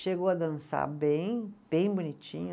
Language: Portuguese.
Chegou a dançar bem, bem bonitinha.